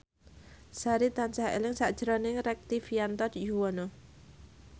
Sari tansah eling sakjroning Rektivianto Yoewono